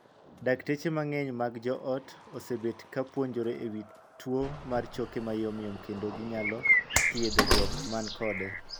Dakteche mang'eny mag jo ot osebet ka puonjore e wii tuo mar choke mayomyom kendo ginyalo thiedho jok man kode.